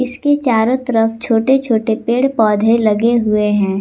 इसके चारों तरफ छोटे छोटे पेड़ पौधे लगे हुए हैं।